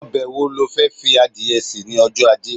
obe wo lo De fi adìye se ni ojo aje